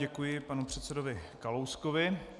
Děkuji panu předsedovi Kalouskovi.